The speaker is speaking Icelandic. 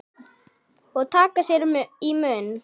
Og taka sér í munn.